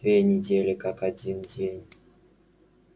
две недели как один день